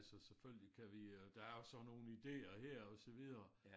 Altså selvfølgelig kan vi øh der er jo sådan nogle ideer her og så videre